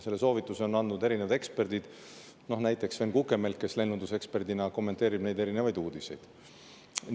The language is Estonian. Selle soovituse on andnud erinevad eksperdid, näiteks lennundusekspert Sven Kukemelk, kes kommenteerib neid uudiseid.